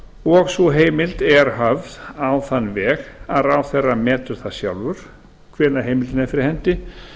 og sú heimild er höfð á þann veg að ráðherra metur það sjálfur hvenær heimildin er eftir hendi